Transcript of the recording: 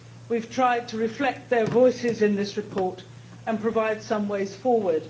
We have tried to reflect their voices in this report and provide some ways forward.